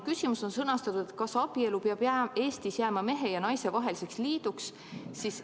Küsimus on teil sõnastatud nii: "Kas abielu peab Eestis jääma mehe ja naise vaheliseks liiduks?